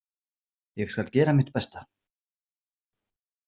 Ég skal gera mitt besta.